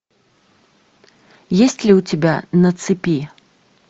есть ли у тебя на цепи